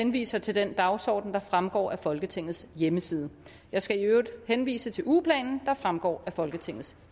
henviser til den dagsorden der fremgår af folketingets hjemmeside jeg skal øvrigt henvise til ugeplanen der fremgår af folketingets